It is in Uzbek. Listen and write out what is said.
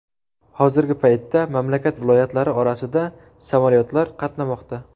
Hozirgi paytda mamlakat viloyatlari orasida samolyotlar qatnamoqda.